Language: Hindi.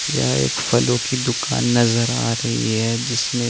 यहां एक फलो की दुकान नज़र आ रही है जिसमे --